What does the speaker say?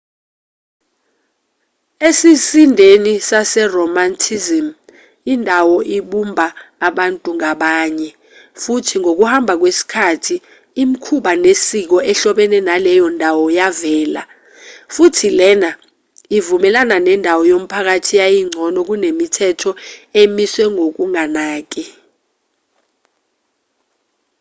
esizindeni seromanticism indawo ibumba abantu ngabanye futhi ngokuhamba kwesikhathi imikhuba nesiko ehlobene naleyo ndawo yavela futhi lena ivumelana nendawo yomphakathi yayingcono kunemithetho emiswe ngokunganaki